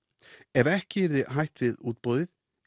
ef ekki yrði hætt við útboðið